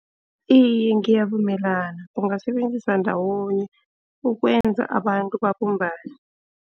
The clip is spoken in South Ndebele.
Iye ngiyavumelana bungasebenzisa ndawonye ukwenza abantu babumbane.